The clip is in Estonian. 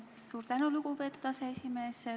Suur tänu, lugupeetud aseesimees!